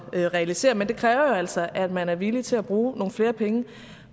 at realisere men det kræver altså at man er villig til at bruge nogle flere penge